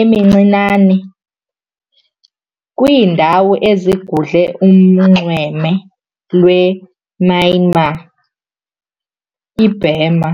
emincinane ikwiindawo ezigudle unxweme lwe-Myanmar, i-Burma.